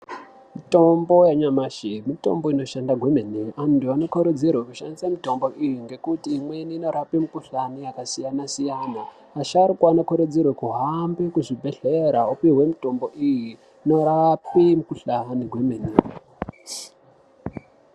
Mitombo yanyamashi mitombo inoshanda kwemene antu anokurudzirwe kushandise mitombo iyi ngekuti imweni inorapa mikhuhlani yakasiyanasiyana asharukwa anokurudzirwe kuhambe kuzvibhehleya opihwe mitombo iyi inorape mikhuhlane zvemene.